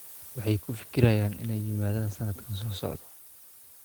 Waxay ku fekerayaan inay yimaadaan sanadka soo socda